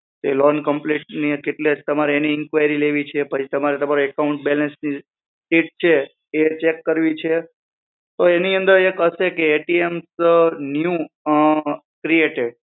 તો એ loan complete ની એની તમારે inquiry લેવી છે તમારો એકાઉન્ટ બેલેન્સ એ ચેક કરવી છે તો એની અંદર એક હશે કે એ ટી એમ નું ક્રિએટડ